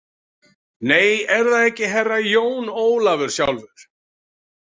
Nei, er það ekki Herra Jón Ólafur sjálfur?